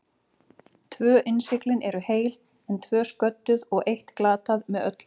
Tvö innsiglin eru heil, en tvö sködduð og eitt glatað með öllu.